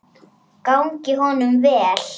Gangi honum vel.